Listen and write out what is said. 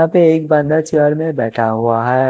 यहां पे एक बंदा चेयर में बैठा हुआ है।